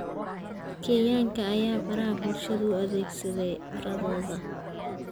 Kenyanka ayaa baraha bulshada u adeegsaday carodooda.